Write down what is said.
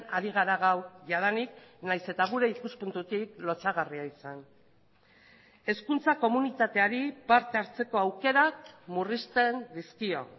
ari gara gaur jadanik nahiz eta gure ikuspuntutik lotsagarria izan hezkuntza komunitateari parte hartzeko aukerak murrizten dizkio